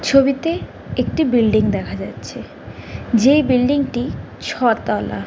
ছবিতে একটি বিল্ডিং দেখা যাচ্ছে | যে বিল্ডিং -টি ছ তলা।